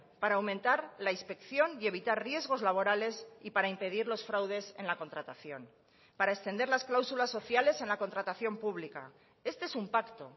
para aumentar la inspección y evitar riesgos laborales y para impedir los fraudes en la contratación para extender las cláusulas sociales en la contratación pública este es un pacto